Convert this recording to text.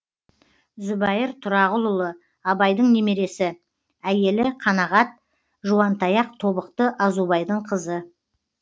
зүбайыр тұрағұлұлы абайдың немересі әйелі қанағат жуантаяқ тобықты азубайдың қызы